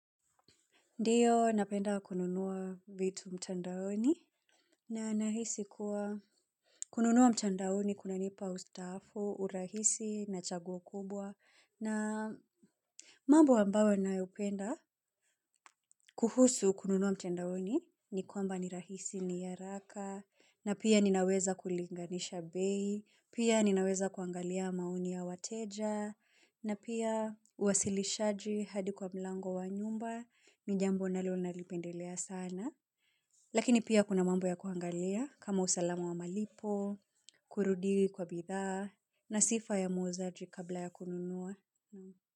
Ndiyo napenda kununua vitu mtandaoni na nahisi kuwa kununua mtandaoni kuna nipa ustafu, urahisi na chaguo kubwa na mambo ambayo nayopenda kuhusu kununua mtandaoni ni kwamba ni rahisi ni haraka na pia ninaweza kulinganisha bei, pia ninaweza kuangalia maoni ya wateja na pia uwasilishaji hadi kwa mlango wa nyumba ni jambo nalo nalipendelea sana. Lakini pia kuna mambo ya kuangalia kama usalama wa malipo, kurudi kwa bidhaa, na sifa ya muuzaji kabla ya kununua.